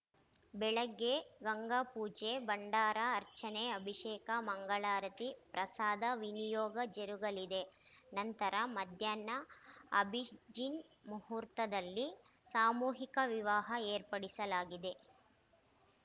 ಬೆಳಗ್ಗೆ ಗಂಗಾ ಪೂಜೆ ಭಂಡಾರ ಅರ್ಚನೆ ಅಭಿಷೇಕ ಮಂಗಳಾರತಿ ಪ್ರಸಾದ ವಿನಿಯೋಗ ಜರುಗಲಿದೆ ನಂತರ ಮಧ್ಯಾಹ್ನ ಅಭಿಜಿನ್‌ ಮುಹೂರ್ತದಲ್ಲಿ ಸಾಮೂಹಿಕ ವಿವಾಹ ಏರ್ಪಡಿಸಲಾಗಿದೆ